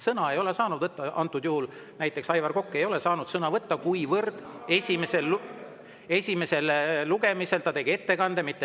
Sõna ei ole saanud võtta antud juhul näiteks Aivar Kokk, kuivõrd esimesel lugemisel ta tegi ettekande.